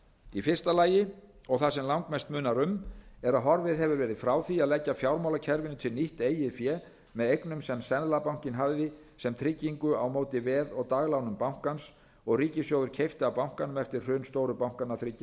í fyrsta lagi og það sem langmest munar um er að horfið hefur verið frá því að leggja fjármálakerfinu til nýtt eigið fé með eignum sem seðlabankinn hafði sem tryggingu á móti veð og daglánum bankans og ríkissjóður keypti af bankanum eftir hrun stóru bankanna þriggja